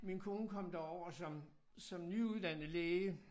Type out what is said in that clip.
Min kone kom derover som som nyuddannet læge